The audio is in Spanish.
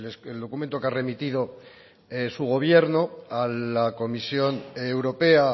el documento que ha remitido su gobierno a la comisión europea